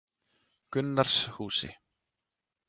Gunnarshúsi